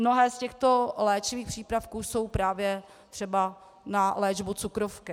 Mnohé z těchto léčivých přípravků jsou právě třeba na léčbu cukrovky.